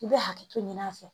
I bɛ hakɛto ɲini a fɛ